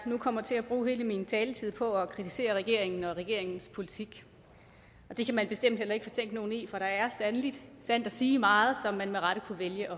nu kommer til at bruge hele min taletid på at kritisere regeringen og regeringens politik og det kan man bestemt heller ikke fortænke nogen i for der er sandt at sige meget som man med rette kunne vælge